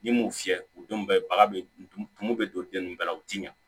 N'i m'o fiyɛ u denw bɛɛ baga bɛ tumu tumu bɛ don den nunnu bɛɛ la u tɛ ɲa